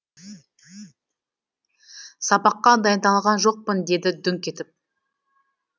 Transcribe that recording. сабақка дайындалған жоқпын деді дүңк етіп